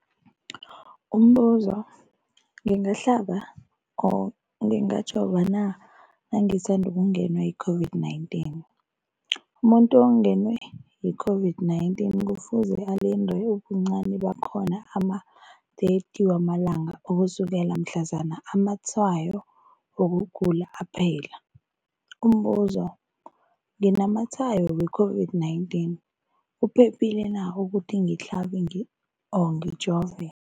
Umbuzo, ngingahlaba, ngingajova na nangisandu kungenwa yi-COVID-19? Umuntu ongenwe yi-COVID-19 kufuze alinde ubuncani bakhona ama-30 wama langa ukusukela mhlazana amatshayo wokugula aphela. Umbuzo, nginamatshayo we-COVID-19, kuphephile na ukuthi ngihlabe, ngijove?